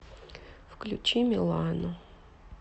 включи милану